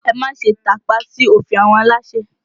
Ẹ má ṣe tàpá sí òfin àwọn aláṣẹ!